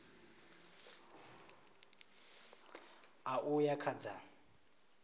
ṋ a uya kha dza